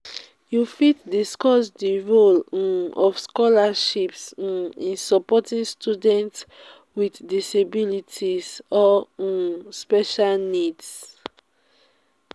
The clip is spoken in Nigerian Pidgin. you fit discuss di role um of scholarships um in supporting students with disabilities or um special needs.